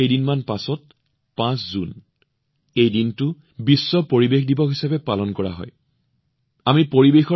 মাত্ৰ কেইদিনমান পিছতে ৫ জুন বিশ্ব পৰিৱেশ দিৱস হিচাপে পালন কৰা হব